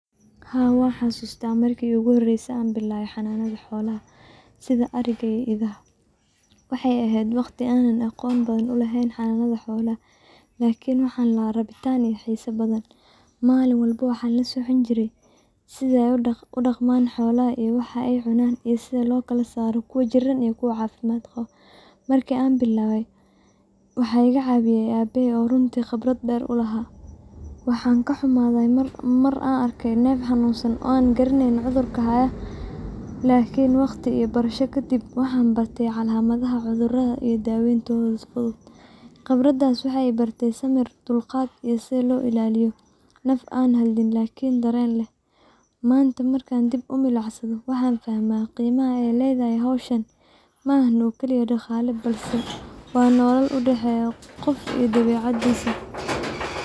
Haa wan xasuusta markii igu horeyse an bilawe xananada xoloha sida ariga iyo idaha, waxay ehed waqti an aqon badan uleheen xananada xollaha lakin waxan laha rabitan iyo xisaa badan, maalin waxan la socon jire sida ay udhaqman iyo waxa ay cunan iyo sida loo kala saaro kuwan jiran iyo kuwa caafimad qabo, marki an bilawe waxa iga caawiye abehey oo runti qibrad dheer ulaha, waxan kaxumaday Mar an arke nef xanunsan oo ana garaneynun cudarka hayo lakini waqti iyo barasha kadib waxan barte calamadaha cudurada iyo daaweyntoda fudud, qibradaas waxay ibarte dulqad iyo sida loo ilaliyo naf an hadlin lakin daren leh, manta markan dib umilicsado waxan fahma qeymaha ay ledahay howshan ma aha oo keli dhaqala bes ah waa nolol udhaxeya qof iyo dabeecadisa.